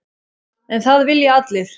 En það vilja allir.